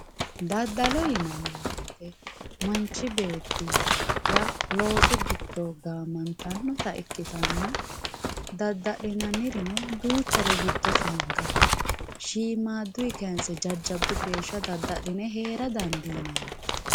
daddalo yinanni woyiite manchi beettira loosu giddo gaamantannota ikkitanna dadda'linannirino duuchare giddos hanqafe shiimaaduy kayiinse jajjabbu geesha dadda'line heera dandiinanite.